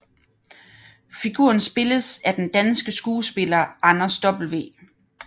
Figuren spilles af den danske skuespiller Anders W